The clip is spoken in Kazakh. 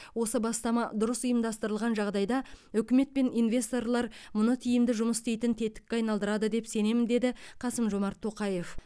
осы бастама дұрыс ұйымдастырылған жағдайда үкімет пен инвесторлар мұны тиімді жұмыс істейтін тетікке айналдырады деп сенемін деді қасым жомарт тоқаев